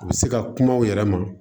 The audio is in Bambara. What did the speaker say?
U bɛ se ka kuma u yɛrɛ ma